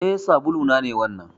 Eh. sabulu na ne wannan.